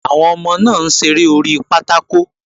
Àwọn ọmọ náà ń ṣeré orí pátákò